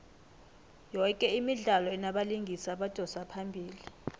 yoke imidlalo inabalingisi abadosa phambili